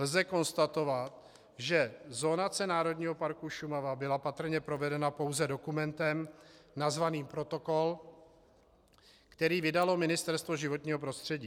Lze konstatovat, že zonace Národního parku Šumava byla patrně provedena pouze dokumentem nazvaným protokol, který vydalo Ministerstvo životního prostředí.